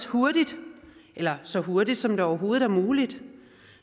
hurtigt eller så hurtigt som det overhovedet er muligt